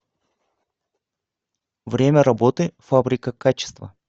время работы фабрика качества